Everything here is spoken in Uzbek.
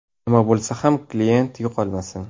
Nima bo‘lsa ham kliyent yo‘qolmasin.